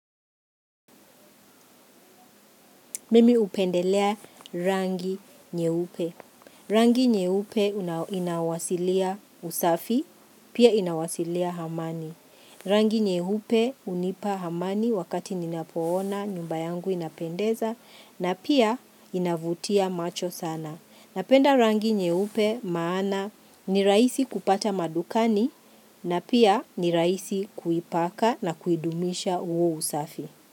Mimi upendelea rangi nyeupe. Rangi nyeupe inawasilia usafi, pia inawasilia amani. Rangi nyeupe unipa hamani wakati ninapoona nyumba yangu inapendeza na pia inavutia macho sana. Napenda rangi nyeupe maana ni raisi kupata madukani na pia ni raisi kuipaka na kuidumisha uo usafi.